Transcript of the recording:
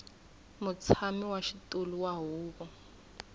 mutshami wa xitulu wa huvo